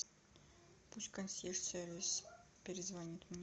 пусть консьерж сервис перезвонит мне